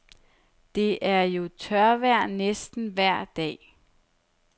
Det er jo tørvejr næsten vejr dag.